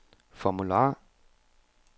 formular